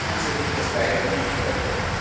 So funktioniert das leider nicht perfekt.